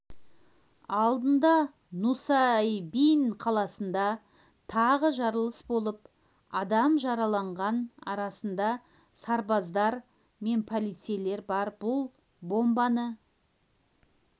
алдында нусайбин қаласында тағы жарылыс болып адам жараланған арасында сарбаздар мен полицейлер бар бұл бомбаны